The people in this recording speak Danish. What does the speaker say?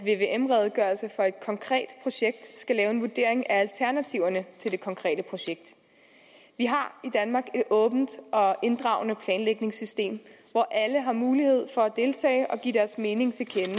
konkret projekt skal lave en vurdering af alternativerne til det konkrete projekt vi har i danmark et åbent og inddragende planlægningssystem hvor alle har mulighed for at deltage og give deres mening til kende